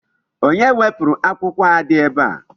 Onye wepụrụ akwụkwọ a dị ebe a?